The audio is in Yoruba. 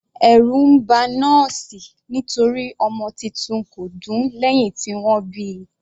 Ẹ̀rù ba nọ́ọ̀sì nítorí ọmọ titun kò dún lẹ́hìn tí wọ́n bíi.